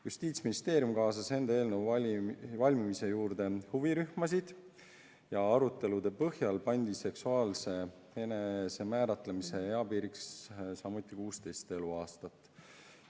Justiitsministeerium kaasas eelnõu koostamisse huvirühmasid ja arutelude põhjal pandi seksuaalse enesemääramise eapiiriks samuti 16 eluaastat.